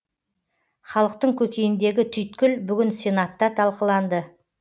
халықтың көкейіндегі түйткіл бүгін сенатта талқыланды